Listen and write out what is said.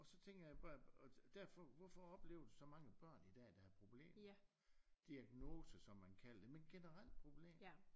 Og så tænker jeg jo bare øh derfor hvorfor opleve så mange børn i dag der har problemer diagnoser som man kalder dem men generelt problemer